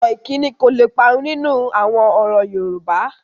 Ọ̀rọ̀ ìkíni kò le parun nínú àwọn ọ̀rọ̀ Yorùbá